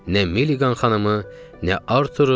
Nə Miliqan xanımı, nə Arturu.